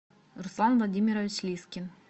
руслан владимирович лискин